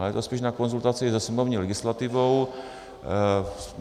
Ale je to spíš na konzultaci se sněmovní legislativou.